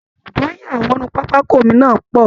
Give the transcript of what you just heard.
Èrò tó ń ya wọnú pápákọ omi náà pọ̀